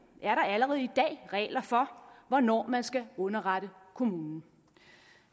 er der allerede i dag regler for hvornår man skal underrette kommunen